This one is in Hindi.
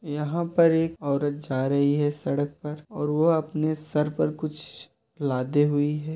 यहां पर एक औरत जा रही है सड़क पर और वो अपने सर पर कुछ लादे हुए है।